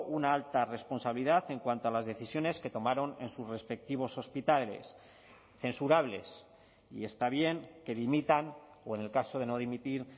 una alta responsabilidad en cuanto a las decisiones que tomaron en sus respectivos hospitales censurables y está bien que dimitan o en el caso de no dimitir